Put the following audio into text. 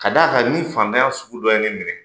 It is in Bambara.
Ka d'a kan ni fantanya sugu dɔ ye ne minɛ